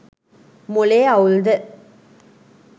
මොලේ අවුල්ද